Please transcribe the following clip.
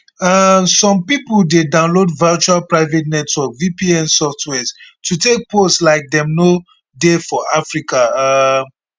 um so some pipo dey download virtual private network vpn softwares to take pose like dem no dey for africa um